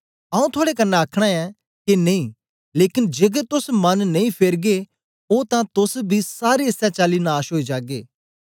आऊँ थुआड़े कन्ने आखना ऐं के नेई लेकन जेकर तोस मन नेई फेरगे ओ तां तोस बी सारे इसै चाली नाश ओई जागे